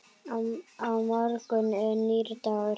Á morgun er nýr dagur.